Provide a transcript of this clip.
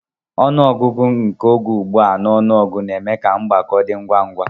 Ọnụ ọgụgụ nke oge ughu a na ọnụọgụ na-eme ka mgbako dị ngwa ngwa.